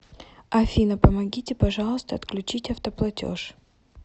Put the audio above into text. афина помогите пожалуйста отключить автоплатеж